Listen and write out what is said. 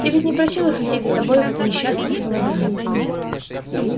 ты ведь не просил их лететь за тобой в это несчастном автомобиле